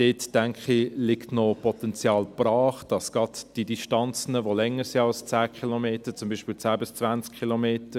Ich denke, dort liegt noch Potenzial brach, gerade bei Distanzen, die länger sind als 10 Kilometer, zum Beispiel 10 bis 20 Kilometer.